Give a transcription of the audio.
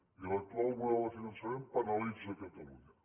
i l’actual model de finançament penalitza catalunya